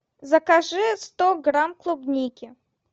закажи сто грамм клубники